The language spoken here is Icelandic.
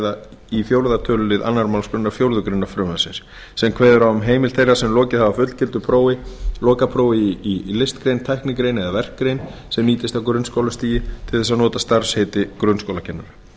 að ræða í fjórða tölulið annarri málsgrein fjórðu grein frumvarpsins sem kveður á um heimild þeirra sem lokið hafa fullgildu lokaprófi í listgrein tæknigrein eða verkgrein sem nýtist á grunnskólastigi til þess að nota starfsheitið grunnskólakennari